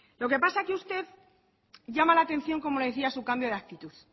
lo que pasa es que usted llama la atención como le decía su cambio de actitud